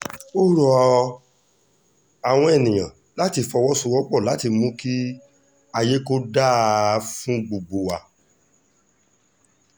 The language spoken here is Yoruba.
ó rọ àwọn èèyàn láti fọwọ́sowọ́pọ̀ láti mú kí ayé kò dáa fún gbogbo wa